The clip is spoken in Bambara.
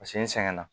Paseke n sɛgɛnna